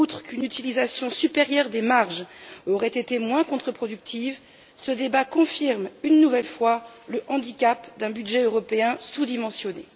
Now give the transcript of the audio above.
Une utilisation supérieure des marges aurait été moins contreproductive et ce débat confirme une nouvelle fois le handicap d'un budget européen sous dimensionné.